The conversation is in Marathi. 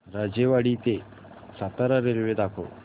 राजेवाडी ते सातारा रेल्वे दाखव